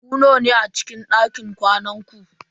Ku nawa ne a cikin dakin kwanan ku?